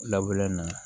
na